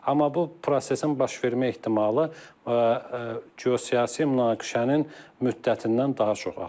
Amma bu prosesin baş vermə ehtimalı geosiyasi münaqişənin müddətindən daha çox asılıdır.